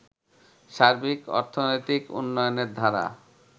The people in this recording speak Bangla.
সার্বিক অর্থনৈতিক উন্নয়নের ধারা